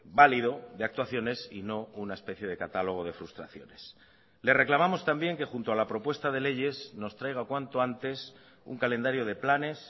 válido de actuaciones y no una especie de catálogo de frustraciones le reclamamos también que junto a la propuesta de leyes nos traiga cuanto antes un calendario de planes